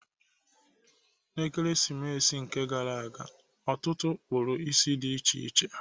N'Ekeresimesi nke gara ọtụtụ kpụrụ isi dị iche iche.